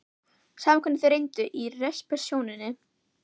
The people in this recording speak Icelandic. Sama hvernig þeir reyndu í resepsjóninni.